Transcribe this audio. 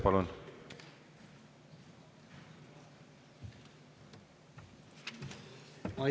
Palun!